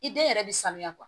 I den yɛrɛ bɛ sanuya